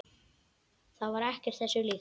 Það var ekkert þessu líkt.